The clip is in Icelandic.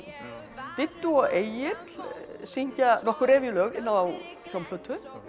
Diddú og Egill syngja nokkur revíulög inn á hljómplötu